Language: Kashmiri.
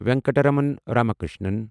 ونکٹرامن راماکرشنن